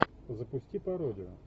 запусти пародию